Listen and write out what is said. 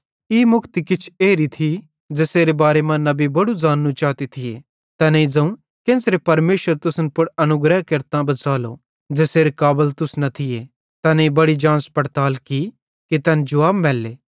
ई मुक्ति किछ एरी थी ज़ेसेरे बारे मां नबी बड़ू ज़ाननू चाते थिये तैनेईं ज़ोवं केन्च़रे परमेशर तुसन पुड़ अनुग्रह केरतां बच़ालो ज़ेसेरे काबल तुस न थिये तैनेईं बड़ी जांच पड़ताल की कि तैन जुवाब मैल्ले